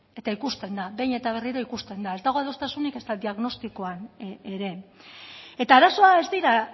eta ikusten da behin eta berriro ikusten da ez dago adostasunik ezta diagnostikoan ere eta arazoa ez dira